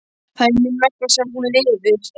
Það er mín vegna sem hún lifir.